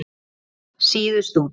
Svíf síðust út.